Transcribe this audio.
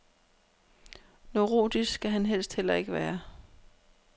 Neurotisk skal han helst heller ikke være.